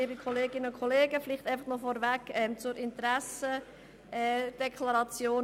Vorweg noch zur Interessendeklaration